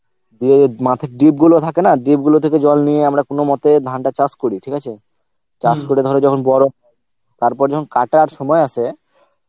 দিয়ে মাঠের ডিপ গুলো থাকে না ডিপ গুলো থেকে জল নিয়ে আমরা কোনো মতে ধানটা চাস করি ঠিক আছে করে যখন ধর গরম, তারপর যখন কাতার সময় আসে